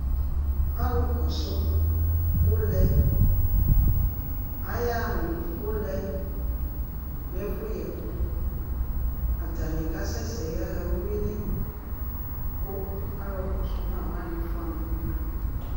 Alʋ kɔsʋ ʋlɛ, ayaɣa nʋ ʋlɛ nʋ ɛfʋyɛ ɛkʋ, atanɩ kasɛsɛ yaɣa uyui li, kʋ alʋ kɔsʋ ma wanɩ fʋa ma nʋ udu